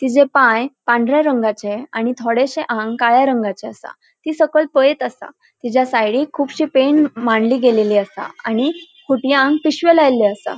तिजो पाय पांढऱ्या रंगाचे आणि थोडेशे आंग काळ्या रंगाचे असा थी सकयल पळयत असा तिज्या सायडीक खूबशीं पेण मांडली गेल्ली असा आणि खुंटीयांक पिशवो लाएले असा.